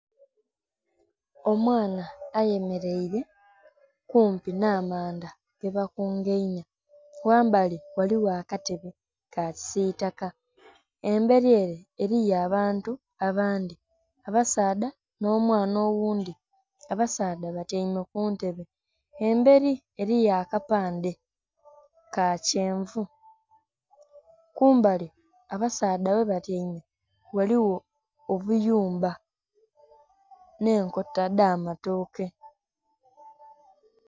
Omwaana ayemereire kumpi nha manda ge bakungainhya, ghambali ghaligho akatebe ka kisitaka emberi ere eriyo abantu abandhi abasaadha nho mwaaana oghundhi, abasaadha batyaime kuntebe emberi eriyo akapandhe ka kyenvu. Kumbali abasaadha ghe batyaime ghaligho obuyumba nhe enkota dha matoke.